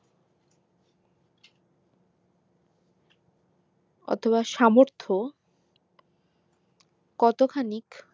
অথবা সামর্থ কতখানিক